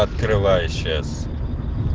открываю сейчас